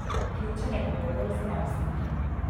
Ključen je pogovor z najstniki.